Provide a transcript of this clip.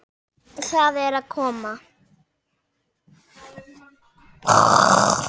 Það er að koma!